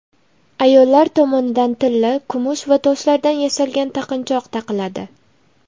Ayollar tomonidan tilla, kumush va toshlardan yasalgan taqinchoq taqiladi.